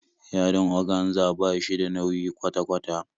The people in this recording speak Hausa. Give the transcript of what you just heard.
Yadin oganza ba shi da nauyi kwata kwata